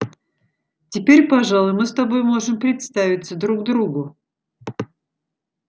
теперь пожалуй мы с тобой можем представиться друг другу